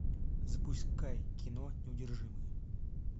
запускай кино неудержимые